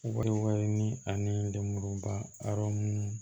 Wari wɛrɛ ni ani lemuruba hɛrɛ minnu